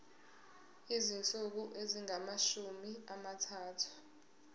izinsuku ezingamashumi amathathu